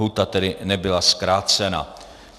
Lhůta tedy nebyla zkrácena.